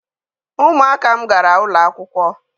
Ụmụaka m gara ụlọ akwụkwọ.